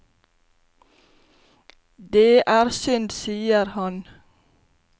Det er synd, sier han.